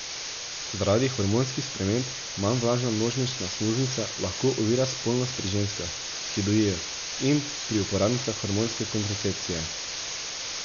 Zaradi hormonskih sprememb manj vlažna nožnična sluznica lahko ovira spolnost pri ženskah, ki dojijo, in pri uporabnicah hormonske kontracepcije.